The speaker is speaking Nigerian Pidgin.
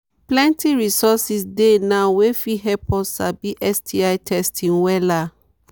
plenty resources dey now wey fit help us sabi sti testing wella